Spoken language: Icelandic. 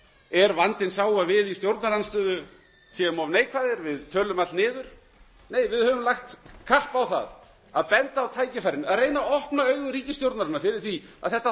er vandinn sá að við í stjórnarandstöðu séum of neikvæð að við tölum allt niður nei við höfum lagt kapp á það að benda á tækifærin og reyna að opna augu ríkisstjórnarinnar fyrir því að þetta